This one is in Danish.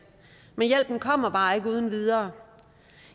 men hjælpen kommer bare ikke uden videre